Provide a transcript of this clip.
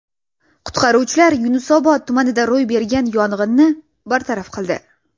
Qutqaruvchilar Yunusobod tumanida ro‘y bergan yong‘inni bartaraf qildi.